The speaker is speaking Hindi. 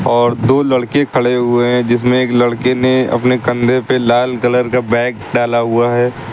और दो लड़के खड़े हुए है जिसमें एक लड़के ने अपने कंधे पर लाल कलर का बैग डाला हुआ है।